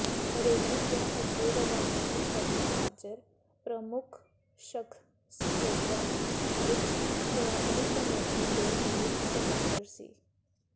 ਬਰੇਲੀ ਤੋਂ ਅੱਗੇ ਰਵਾਨਗੀ ਸਮੇਂ ਹਾਜ਼ਰ ਪ੍ਰਮੁੱਖ ਸ਼ਖ਼ਸੀਅਤਾਂ ਵਿਚ ਸ਼੍ਰੋਮਣੀ ਕਮੇਟੀ ਦੇ ਮੀਤ ਸਕੱਤਰ ਸ